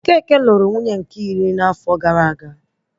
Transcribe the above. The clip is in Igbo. Okeke nụrụ nwunye nke iri n'afo gara aga